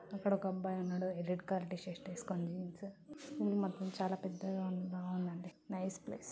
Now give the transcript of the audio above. ఇక్కడ ఒక అబ్బాయి ఉన్నాడు రెడ్ కలర్ టి షర్ట్ వేసుకొని.వ్యూ మాత్రం చాలా పెద్ద గ ఉందది నైస్ ప్లేస్ .